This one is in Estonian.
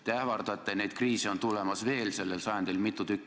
Te ähvardate, et neid kriise tuleb sellel sajandil veel mitu tükki.